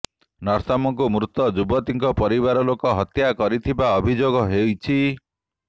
ନର୍ତ୍ତମଙ୍କୁ ମୃତ ଯୁବତୀଙ୍କ ପରିବାର ଲୋକ ହତ୍ୟା କରିଥିବା ଅଭିଯୋଗ ହୋଇଛି